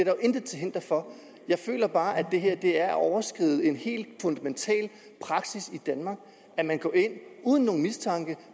jo intet til hinder for jeg føler bare at det er at overskride en helt fundamental praksis i danmark at man går ind uden nogen mistanke